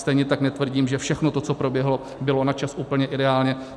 Stejně tak netvrdím, že všechno to, co proběhlo, bylo na čas úplně ideálně.